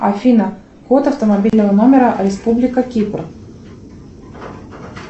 афина код автомобильного номера республика кипр